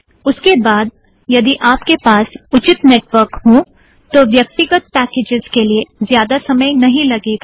उसके बाद यदि आपके पास उचित नेटवर्क हों तो व्यक्तिगत पैकेज़ के लिए ज़्यादा समय नहीं लगेगा